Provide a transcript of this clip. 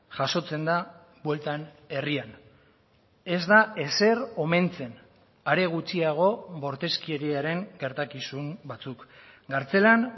jasotzen da bueltan herrian ez da ezer omentzen are gutxiago bortizkeriaren gertakizun batzuk kartzelan